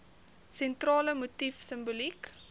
sentrale motief simboliek